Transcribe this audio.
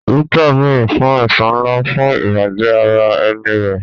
Rita béèrè fún ẹ̀san ńlá fún ìbàjẹ́ ara ẹni rẹ̀.